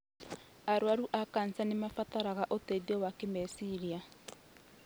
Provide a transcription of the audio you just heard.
Arwaru a kanja nĩmarabatara ũteithio wa kĩmeciria